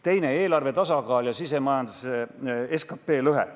Teiseks, eelarvetasakaal ja SKP lõhe.